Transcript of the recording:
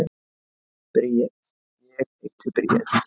Bríet: Ég heiti Bríet.